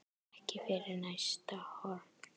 Ekki fyrir næsta horn.